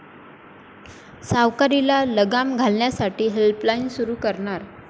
सावकारीला लगाम घालण्यासाठी हेल्पलाईन सुरू करणार'